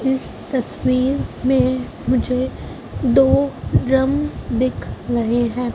इस तस्वीर में मुझे दो ड्रम दिख रहे हैं।